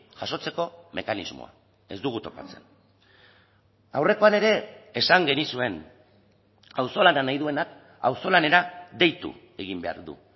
jasotzeko mekanismoa ez dugu topatzen aurrekoan ere esan genizuen auzolana nahi duenak auzolanera deitu egin behar du